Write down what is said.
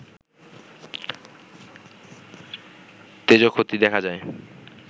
তেজঃক্ষতি দেখা যায়